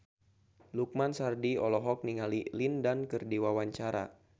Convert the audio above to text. Lukman Sardi olohok ningali Lin Dan keur diwawancara